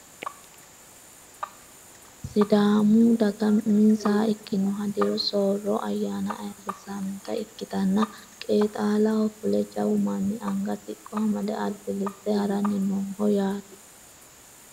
sidaamu daga uminsaha ikkinohu diru soorro ayyaana ayeerrissannota ikkitanna qeexalaho fule jawu manni anga siqqo amade albillitte haranni nooho yaate